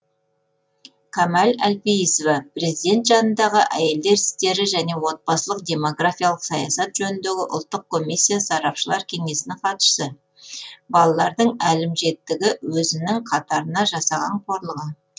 камал әлпейісова президент жанындағы әйелдер істері және отбасылық демографиялық саясат жөніндегі ұлттық комиссия сарапшылар кеңесінің хатшысы балалардың әлімжеттігі өзінің қатарына жасаған қорлығы